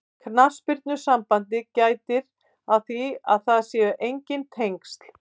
Knattspyrnusambandið gætir að því að það séu enginn tengsl.